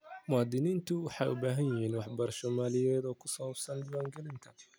Muwaadiniintu waxay u baahan yihiin waxbarasho maaliyadeed oo ku saabsan diiwaangelinta.